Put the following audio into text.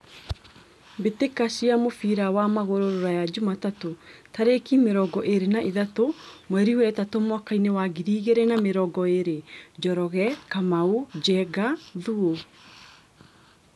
Mbĩtĩka cia mũbira wa magũrũ Ruraya Jumatatũ tarĩki mĩrongo ĩrĩ na ithatũ mweri wetatũ mwakainĩ wa ngiri igĩrĩ na mĩrongo ĩrĩ : Njoroge, Kamau, Njenga, Thuo.